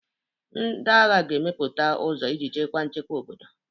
Ndị agha ga-emepụta ụzọ iji chekwaa nchekwa obodo.